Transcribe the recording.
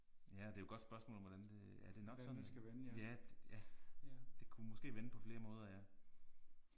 Ja og det er jo et godt spørgsmål om hvordan det ja det nok sådan. Ja ja. Det kunne måske vende på flere måder ja